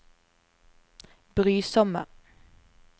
brysomme